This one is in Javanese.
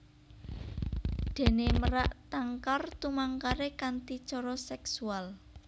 Déné merak tangkar tumangkaré kanthi cara seksual